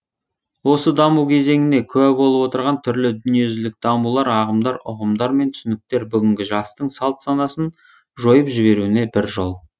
осы даму кезеңіне куә болып отырған түрлі дүниежүзілік дамулар ағымдар ұғымдар мен түсініктер бүгінгі жастың салт санасын жойып жіберуіне бір жол